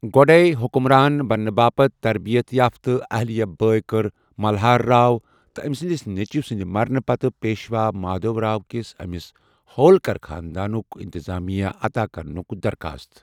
گۄ٘ڈَیہ حکمران بننہٕ باپتھ تربیت یافتہ، اہلیہ بھائی کٔر ملہار راؤ تہٕ أمہِ سٕنٛدِس نیٚچوِ سٕنٛدِ مرنہٕ پتہٕ پیشوا مادھو راؤ كِس أمِس ہولکر خاندانُک انتظامیہ عتا كرنٗك درخاست ۔